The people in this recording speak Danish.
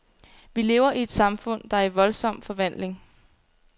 Vi lever i et samfund, der er i voldsom forvandling.